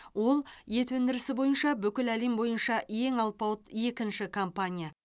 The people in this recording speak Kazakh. ол ет өндірісі бойынша бүкіл әлем бойынша ең алпауыт екінші компания